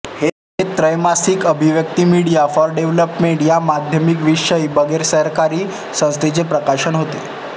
हे त्रैमासिक Abhivyakti Media for Development या माध्यमविषयक बिगरसरकारी संस्थेचे प्रकाशन होते